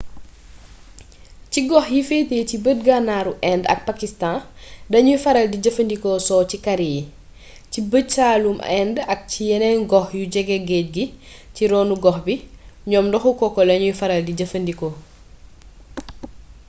ci gox yi féete ci bët gànnaaru inde ak pakistan dañuy faral di jëfandikoo soow ci kari yi ci bëj saalumu inde ak ci yeneen gox yu jege géej gi ci ronu-gox bi ñoom ndoxu coco lañu faral di jëfandikoo